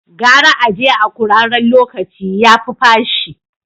Gara a je a kuraren locaci, yafi fashi.